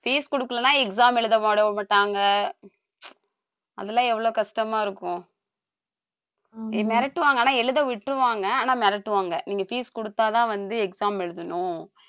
fees கொடுக்கலைன்னா exam எழுத மாட்டாங்க அதெல்லாம் எவ்வளவு கஷ்டமா இருக்கும் மிரட்டுவாங்க ஆனா எழுத விட்டுருவாங்க ஆனா மிரட்டுவாங்க நீங்க fees குடுத்தாதான் வந்து exam எழுதணும்